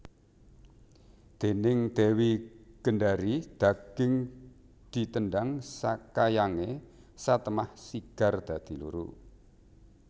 Déning Dewi Gendari daging ditendhang sakayange satemah sigar dadi loro